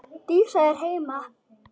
Dísa er heima!